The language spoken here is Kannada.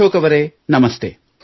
ಅಶೋಕ್ ಅವರೇ ನಮಸ್ತೆ